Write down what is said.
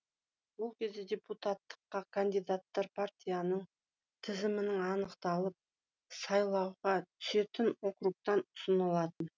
ол кезде депутаттыққа кандидаттар партияның тізімінің анықталып сайлауға түсетін округтан ұсынылатын